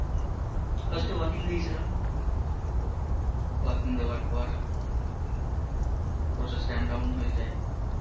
walk-in দিয়েছিলাম, ও, walk-in দেওয়ার পর process ramdown হয়ে যায়